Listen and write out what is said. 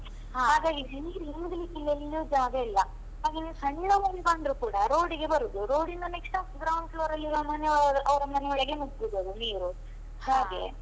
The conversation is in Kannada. ನೀರ್ ಇಂಗ್ಲಿಕ್ಕೆ ಎಲ್ಲಿಯೂ ಜಾಗ ಇಲ್ಲ. ಹಾಗಾಗಿ ಸಣ್ಣ ಮಳೆ ಬಂದ್ರು ಕೂಡ road ಗೆ ಬರುದು, road ಇಂದ next ground floor ಅಲ್ಲಿ ಇರುವ ಮನೆಯೊಳಗೆ ಅವರ ಮನೆಯೊಳಗೆ ನುಗ್ಗುದದು ನೀರು